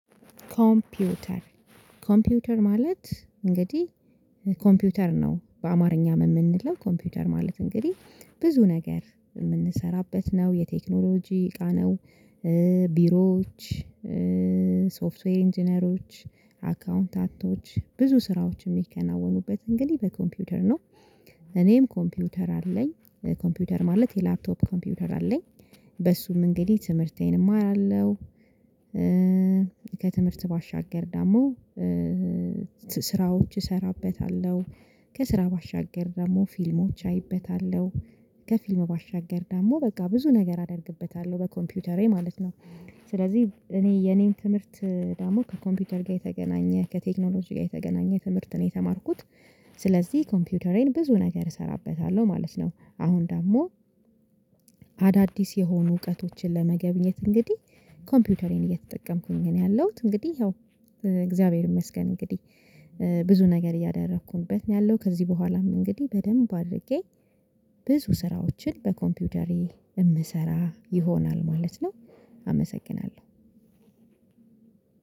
ኮምፒውተር ኮምፒውተር ማለት እንግዲህ ኮምፒውተር ነው በአማርኛ የምንለው ኮምፒውተር ማለት እንግዲህ ብዙ ነገር የምንሰራበት ነው የቴክኖሎጂ እቃ ነው። ቢሮዎች ሶፍትዌር ኢንጂነሮች አካውንታንቶች ብዙ ስራዎች የሚከናወኑበት እንግዲህ በኮምፒውተር ነው። እኔም ኮምፒውተር አለኝ ኮምፒውተር ማለት የላፕቶፕ ኮምፒውተር አለኝ በሱም እንግዲህ ትምህርቴን እማራለሁ። ከትምህርት ባሻገር ደግሞ ስራዎች እሰራበታለሁ ከስራ ባሻገር ደግሞ ፊልሞች አይበታለሁ ከፊልሙ ባሻገር ደግሞ በቃ ብዙ ነገር አደርግበታለሁ በኮምፒውተሬ ማለት ነው። ስለዚህ እኔ የኔን ትምህርት ደግሞ ከኮምፒውተር ጋር የተገናኘ ከቴክኖሎጂ ጋር የተገናኘ ትምህርት ነው የተማርኩት። ስለዚህ ኮምፒውተሬን ብዙ ነገር እሰራበታለሁ ማለት ነው። አሁን ደግሞ የሆኑ እውቀቶችን ለመገብኘት እንግዲህ ኮምፒውተሬን እየተጠቀምኩኝ ነው ያለሁት። እንግዲህ ይኸው እግዚአብሔር ይመስገን እንግዲህ ብዙ ነገር እያደረኩበት ነው ያለው። ከዚህ በኋላም እንግዲህ በደንብ አድርጌ ብዙ ስራዎችን በኮምፒውተሬ የምሰራ ይሆናል ማለት ነው። አመሰግናለሁ።